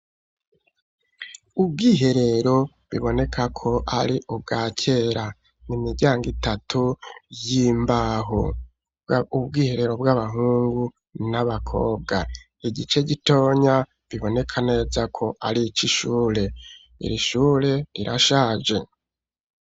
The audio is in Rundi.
Ubwiherero, biboneka ko ari ubwa kera, ni imiryango itatu, y'imbaho; ubwiherero bw'abahungu n'abakobwa; igice gitonya, biboneka neza ko, ari ic'ishure; iri shure rirashaje.